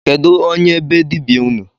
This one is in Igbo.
Kedu onye be dibịa unu?